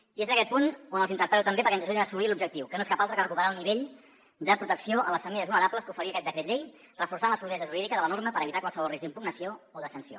i és en aquest punt on els interpel·lo també perquè ens ajudin a assolir l’objectiu que no és cap altre que recuperar el nivell de protecció a les famílies vulnerables que oferia aquest decret llei reforçant la solidesa jurídica de la norma per evitar qualsevol risc d’impugnació o de sanció